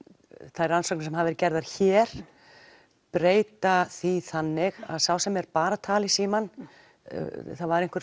þær rannsóknir sem hafa verið gerðar hér breyta því þannig að sá sem er bara að tala í símann það var einhver